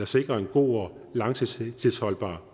sikrer en god og langtidsholdbar